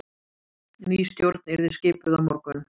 Ný stjórn yrði skipuð á morgun